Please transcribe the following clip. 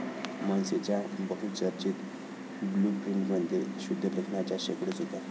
मनसेच्या बहुचर्चित ब्ल्यू प्रिंटमध्ये शुद्धलेखनाच्या शेकडो चुका!